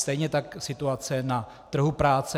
Stejně tak situace na trhu práce.